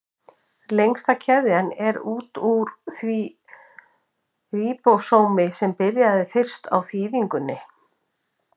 Lengsta keðjan er út úr því ríbósómi sem byrjaði fyrst á þýðingunni.